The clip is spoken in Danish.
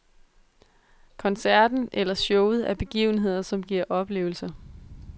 Koncerten eller showet er begivenheder, som giver oplevelser.